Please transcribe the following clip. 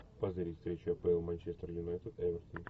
позырить встречу апл манчестер юнайтед эвертон